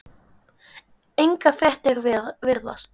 Engar fréttir virðast